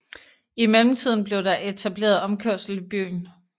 I mellemtiden blev der etableret omkørsel i byen